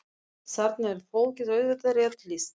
Þarna er fólki auðvitað rétt lýst.